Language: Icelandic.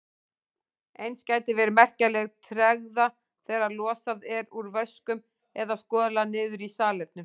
Eins gæti verið merkjanleg tregða þegar losað er úr vöskum eða skolað niður í salernum.